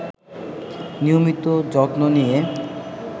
নিয়মিত যত্ন নিয়ে